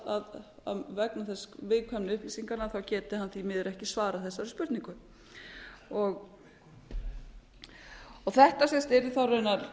það að vegna þess viðkvæmni upplýsinganna geti hann því miður ekki svarað þessari spurningu þetta yrði þá raunar